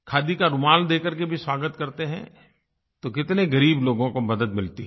खादी का रुमाल दे कर के भी स्वागत करते हैं तो कितने ग़रीब लोगों को मदद मिलती है